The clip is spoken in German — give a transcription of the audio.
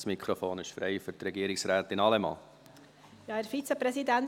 Das Mikrofon ist frei für Regierungsrätin Allemann.